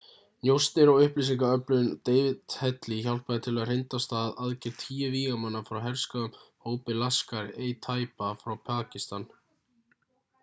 njósnir og upplýsingaöflun david headley hjálpaði til við að hrinda af stað aðgerð tíu vígamanna frá herskáum hópi laskhar-e-taiba frá pakistan